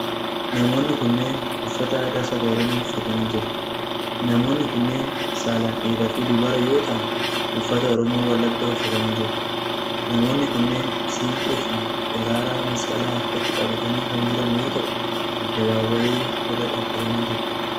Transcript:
Namoonni kunneen, uffata aadaa saba Oromoo uffatanii jru. Namoonni kunneen saalan dhiira fi dubara yoo ta'an, uffata Oromoo wallaggaa uffatanii jiru. Namoonni kunneen siinqee fi daraaraa masqalaa harkatti qabatanii kan jiran yoo ta'u, addabaabaayii irra dhaabatanii jiru.